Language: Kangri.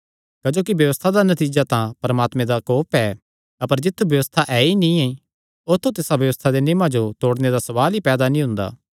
क्जोकि व्यबस्था दा नतीजा दा परमात्मे दा कोप ऐ अपर जित्थु व्यबस्था ऐ ई नीं औत्थू तिसा व्यबस्था दे नियमां जो तोड़णे दा सवाल ई पैदा नीं हुंदा